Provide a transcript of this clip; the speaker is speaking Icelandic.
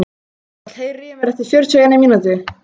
Kristall, heyrðu í mér eftir fjörutíu og eina mínútur.